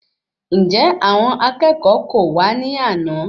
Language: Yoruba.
Njẹ àwọn akẹ́kọ̀ọ́ kò wa ní àna?